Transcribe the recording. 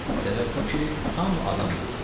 Səbəb bu ki, hamı azan deyirdi.